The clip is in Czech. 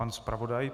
Pan zpravodaj.